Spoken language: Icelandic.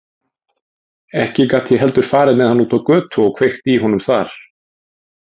Ekki gat ég heldur farið með hann út á götu og kveikt í honum þar.